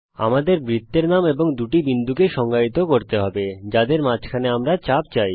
আমাদের বৃত্তের নাম এবং দুটি বিন্দুকে সংজ্ঞায়িত করতে হবে যাদের মাঝে আমরা চাপ চাই